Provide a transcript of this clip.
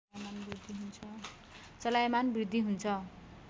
चलायमान वृद्धि हुन्छ